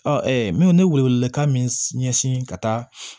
Ɔ n bɛ n be wele wele kan min ɲɛsin ka taa